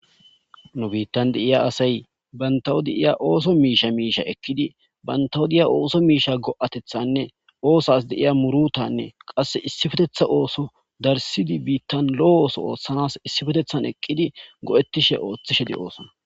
nu biittan deiya asay bantawodi iya ooso miisha miisha ekkidi bantawo diya ooso miisha go7atethanne oosas deiya murutanne qasse issifetetha ooso darsidi biittan lo7o ooso oothtshanas issifetethan eqqidi go7ettishe ooththishe di oosona